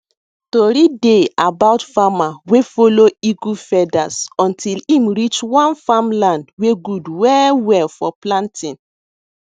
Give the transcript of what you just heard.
tori dey about farmer wey follow eagle feathers until em reach one farmland wey good well well for planting